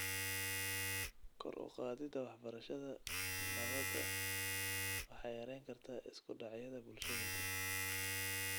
Kor u qaadida waxbarashada nabada waxay yarayn kartaa isku dhacyada bulshooyinka.